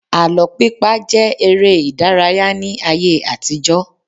Àlọ́ pípa jẹ́ eré ìdárayá ní ayé àtijó.